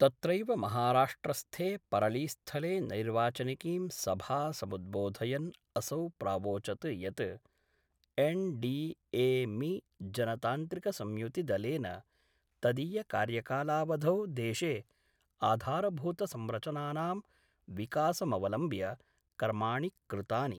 तत्रैव महाराष्ट्रस्थे परलीस्थले नैर्वाचनिकीं सभा समुद्बोधयन् असौ प्रावोचद् यत् एन डी ए मि जनतान्त्रिकसंयुतिदलेन तदीयकार्यकालावधौ देशे आधारभूत संरचनानां विकासमवलम्ब्य कर्माणि कृतानि